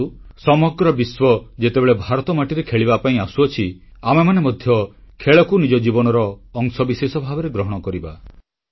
ଆସନ୍ତୁ ସମଗ୍ର ବିଶ୍ୱ ଯେତେବେଳେ ଭାରତମାଟିରେ ଖେଳିବା ପାଇଁ ଆସୁଅଛି ଆମେମାନେ ମଧ୍ୟ ଖେଳକୁ ନିଜ ଜୀବନର ଅଂଶବିଶେଷ ଭାବରେ ଗ୍ରହଣ କରିବା